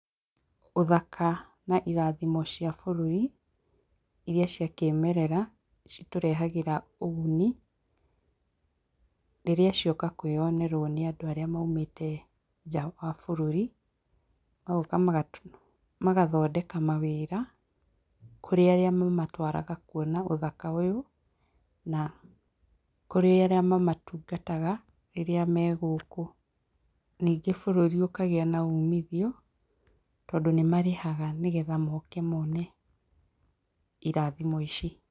Ũthaka na irathimo cia bũrũri iria ciakĩmerera, citũrehagĩra ũguni rĩrĩa cioka kwĩyonerwo nĩandũ arĩa maumĩte nja wa bũrũri, magoka magathondeka mawĩra kũrĩ arĩa mamatwaraga kwona ũthaka ũyũ na kũrĩ arĩa mamatungataga rĩrĩa megũkũ. Ningĩ bũrũri ũkagĩa na umithio tondũ nĩmarĩhaga nĩgetha moke mone irathimo ici.